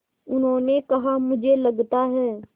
उन्होंने कहा मुझे लगता है